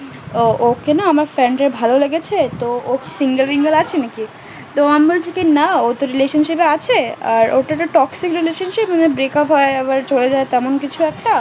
ওকে না আমার friend এর ভালো লেগেছে তো ও single ফিঙ্গেল আছে নাকি তো আমি বলছি না ও তো relationship এ আছে আর ওটা তো toxic relationship ওদের break up হয় আবার চলে যায় তেমন কিছু একটা